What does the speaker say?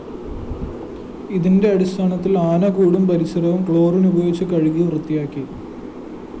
ഇതിന്റെ അടിസ്ഥാനത്തില്‍ ആനകൂടും പരിസരവും ക്ലോറിൻ ഉപയോഗിച്ച് കഴുകി വൃത്തിയാക്കി